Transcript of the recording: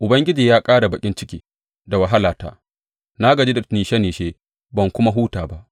Ubangiji ya ƙara baƙin ciki da wahalata; na gaji da nishe nishe ban kuma huta ba.’